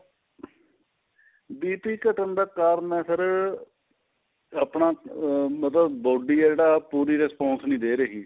BP ਘੱਟਣ ਦਾ ਕਾਰਨ ਏ sir ਆਪਣਾ ਮਤਲਬ body ਏ ਜਿਹੜਾ ਉਹ ਪੂਰਾ response ਨਹੀਂ ਦੇ ਰਹੀ